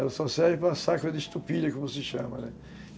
Ela só serve para saco de estupilha, como se chama, né?